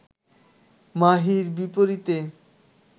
মাহীর বিপরীতে